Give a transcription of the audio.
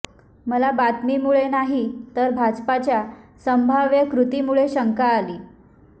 मला बातमीमुळे नाही तर भाजपाच्या संभाव्य कृतीमुळे शंका आली